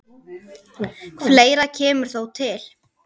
Fleira kemur þó til.